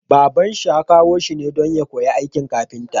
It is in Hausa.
Baban shi ya kawo shi ne don ya koyi aikin kafinta